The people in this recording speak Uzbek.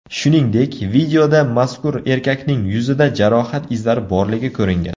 Shuningdek, videoda mazkur erkakning yuzida jarohat izlari borligi ko‘ringan.